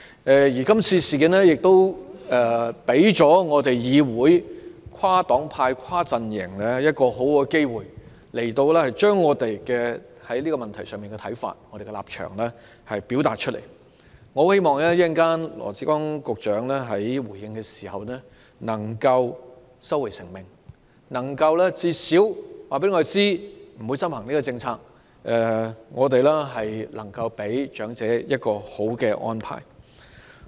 這次事件亦給予議會內跨黨派、跨陣營一個很好的契機，讓我們表達對這個問題的看法和立場，我很希望羅致光局長稍後回應時能夠收回成命，至少能夠告訴我們，不會執行這項政策，給予長者一個理想的安排。